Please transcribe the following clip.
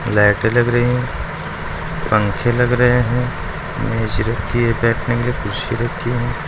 लाइटें लग रही हैं पंखे लग रहे हैं मेज रखी है बैठने के लिए कुर्सी रखी है।